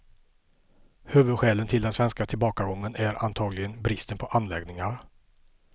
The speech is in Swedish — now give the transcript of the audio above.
Huvudskälet till den svenska tillbakagången är antagligen bristen på anläggningar.